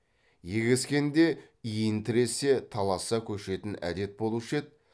егескенде иінтіресе таласа көшетін әдет болушы еді